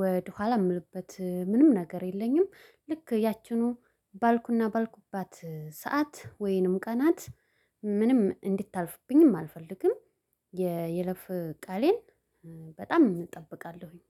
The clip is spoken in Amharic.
ወደኋላ የምልበት ምንም ነገር የለኝም። ልክ ያችኑ ባልኩና ባልኩባት ሰዓት ወይንም ቀናት ምንም እንድታልፍብኝም አልፈልግም። የይለፍ ቃሌን በጣም እጠብቃለሁኝ።